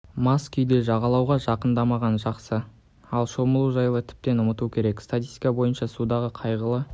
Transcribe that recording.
мас күйде жағалауға жақын-дамаған жақсы ал шомылу жайлы тіптен ұмыту керек статистика бойынша судағы қайғылы